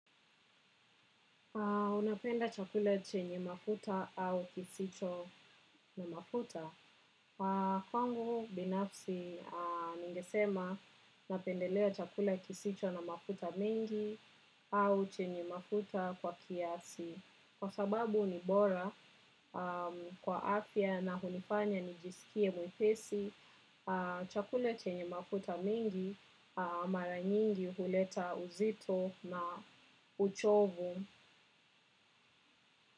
Unapenda chakula chenye mafuta au kisicho na mafuta. Kwangu, binafsi, ningesema napendelea chakula kisicho na mafuta mingi au chenye mafuta kwa kiasi. Kwa sababu ni bora kwa afya na hunifanya nijisikie mwepesi, chakula chenye mafuta mengi mara nyingi huleta uzito na uchovu.